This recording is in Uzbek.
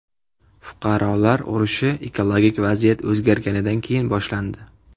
Fuqarolar urushi ekologik vaziyat o‘zgarganidan keyin boshlandi.